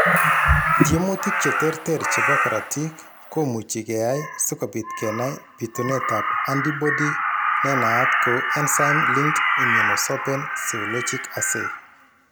Tyemutik cheterter chebo korotik komuchi keyai sikobit kenai bitunetab antibody nenaat kou enzyme linked immunosorbent seologic assay .